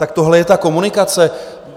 Tak tohle je ta komunikace?